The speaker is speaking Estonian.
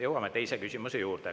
Jõuame teise küsimuse juurde.